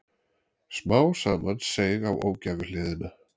Smá saman seig á ógæfuhliðina.